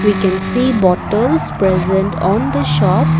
we can see bottles present on the shop.